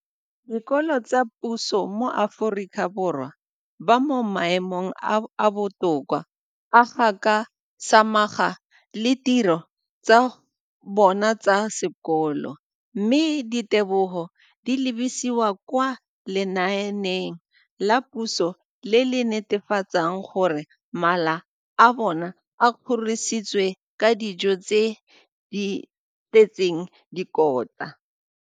Dikolo tsa puso mo Aforika Borwa ba mo maemong a a botoka a go ka samagana le ditiro tsa bona tsa sekolo, mme ditebogo di lebisiwa kwa lenaaneng la puso le le netefatsang gore mala a bona a kgorisitswe ka dijo tse di tletseng dikotla.